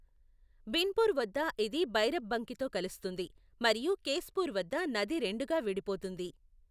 బిన్పూర్ వద్ద ఇది భైరబ్బంకితో కలుస్తుంది, మరియు కేశ్పూర్ వద్ద నది రెండుగా విడిపోతుంది.